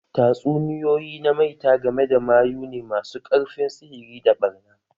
Tatsuniyoyi na maita game da mayu ne masu ƙarfin sihiri da ɓarna.